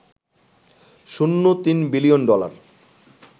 শূন্য ৩ billion dollar